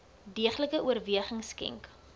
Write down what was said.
deeglike oorweging skenk